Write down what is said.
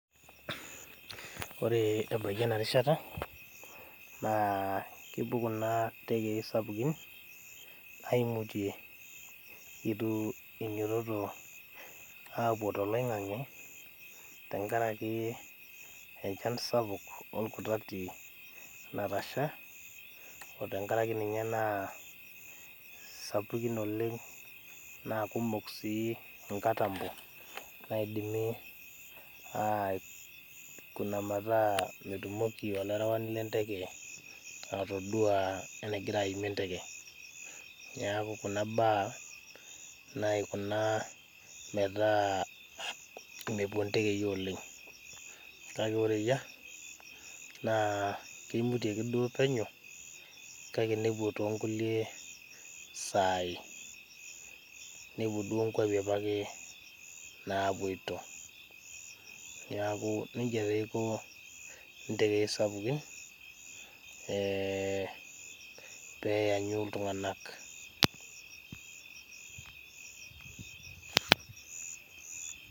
Ore ebaiki ena rishata naa kepuo kuna tekei sapukin aimutie itu inyototo apuo toloingange tenkaraki enchan sapuk orkutati natasha otenkaraki ninye naa sapukin oleng naa kumok sii nkatampo naidimi aikuna metaa metumoki olarewani lenteke atoduaa enagira aimie enteke. Niaku kuna baa naikuna metaa mepuo ntekei oleng kake ore eyiea kimutieki duo penyo kake nepuo toonkulie saai , nepuo duo kwapi apake napoito. Niaku nejia taa eiko ntekei sapukin ee peanyu iltunganak .